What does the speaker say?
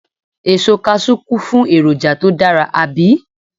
Èso Kaṣú kún fún èròjà tó dára, àbí?